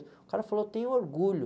O cara falou, tenho orgulho.